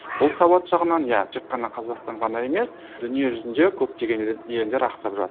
бұл сауат жағынан иә тек қана қазақстан ғана емес дүниежүзінде көптеген елдер ақсап